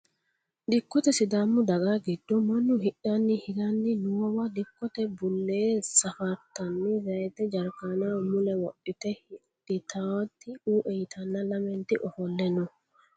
Dikote sidaamu daga giddo manu hidhani hirani noowa dikote bulee safartani zayite jarkanaho mule wodhite hidhitawoti uue yitana lamenti ofole no.